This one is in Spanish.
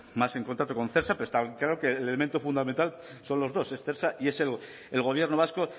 más en contacto con celsa pero está claro que el elemento fundamental son los dos es celsa y es el gobierno vasco